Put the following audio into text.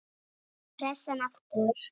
Pressan aftur.